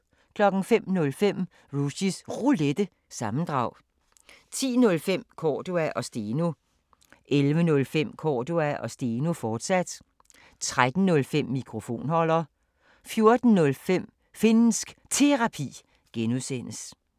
05:05: Rushys Roulette – sammendrag 10:05: Cordua & Steno 11:05: Cordua & Steno, fortsat 13:05: Mikrofonholder 14:05: Finnsk Terapi (G)